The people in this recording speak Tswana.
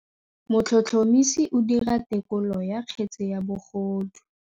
Motlhotlhomisi o dira têkolô ya kgetse ya bogodu.